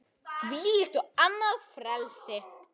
Þvílíkt og annað eins frelsi!